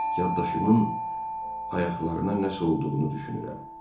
Yaddaşımın ayaqlarına nəsə olduğunu düşünürəm.